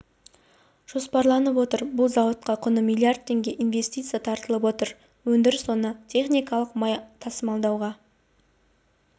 жоспарланып отыр бұл зауытқа құны миллиард теңге инвестиция тартылып отыр өндіріс орны техникалық май тасымалдауға